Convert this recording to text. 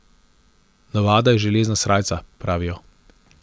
Navada je železna srajca, pravijo.